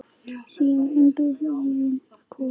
Sinn eiginn kofa.